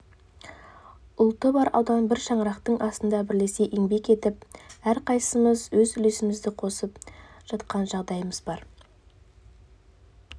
ұлты бар аудан бір шаңырақтың астында бірлесе еңбек етіп әрқайсымыз өз үлесімізді қосып жатқан жағдайымыз бар